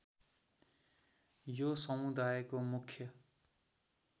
यो समुदायको मुख्य